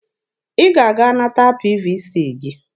Ị ga-aga nata PVC gị!